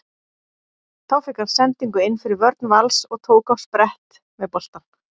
Þá fékk hann sendingu inn fyrir vörn Vals og tók á sprett með boltann.